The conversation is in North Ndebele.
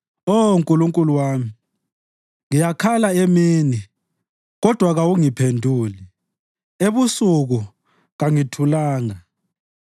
Oh Nkulunkulu wami, ngiyakhala emini, kodwa kawuphenduli; ebusuku, kangithulanga.